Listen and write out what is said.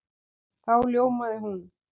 Þá ljómaði hún.